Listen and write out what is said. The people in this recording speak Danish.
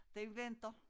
Den venter